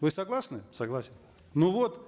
вы согласны согласен ну вот